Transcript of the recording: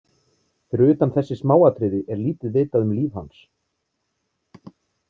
Fyrir utan þessi smáatriði er lítið vitað um líf hans.